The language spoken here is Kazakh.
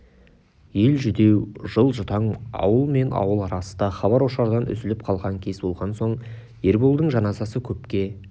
ел жүдеу жыл жұтаң ауыл мен ауыл арасы да хабар-ошардан үзіліп қалған кез болған соң ерболдың жаназасы көпке